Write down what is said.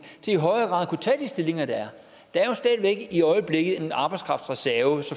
til i højere grad at kunne tage de stillinger der er der er jo stadig væk i øjeblikket en arbejdskraftreserve